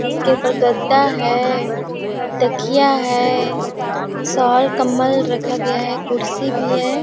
इसके उपर गद्दा है तकिया है शाल कंबल रखा गया है कुर्सी भी है।